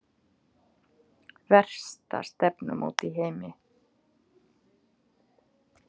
Versta stefnumót í heimi